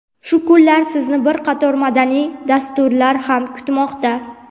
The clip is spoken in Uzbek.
Shu kunlari sizni bir qator madaniy dasturlar ham kutmoqda.